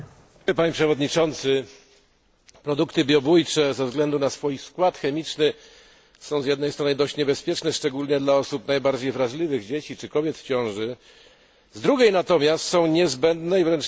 Produkty biobójcze ze względu na swój skład chemiczny są z jednej strony dość niebezpieczne, szczególnie dla osób najbardziej wrażliwych, dzieci czy kobiet w ciąży, z drugiej natomiast są niezbędne i wręcz niezastąpione w trosce o zdrowie człowieka.